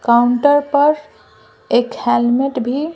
counter पर एक helmet भी --